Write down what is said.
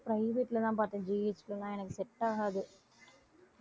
private ல தான் பார்த்தேன் GH ல எல்லாம் எனக்கு set ஆகாது